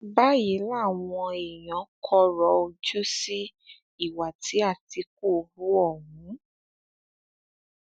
báyìí làwọn èèyàn kọrọ ojú sí ìwà tí àtìkù hu ohun